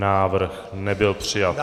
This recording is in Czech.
Návrh nebyl přijat.